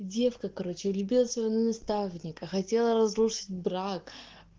девка короче любила своего наставника хотела разрушить брак